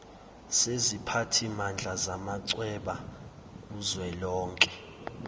seziphathimandla zamachweba kuzwelonke